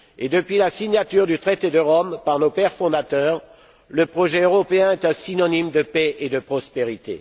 Depuis la signature du traité de Rome par nos pères fondateurs, le projet européen est synonyme de paix et de prospérité.